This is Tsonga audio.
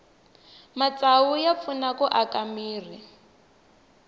matsavu ya pfuna ku aka mirhi